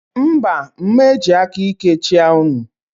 Mba, m eji aka íké chịa unu.